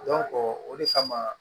o de kama